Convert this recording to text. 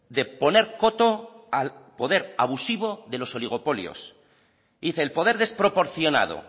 de poner coto al poder abusivo de los oligopolios dice el poder desproporcionado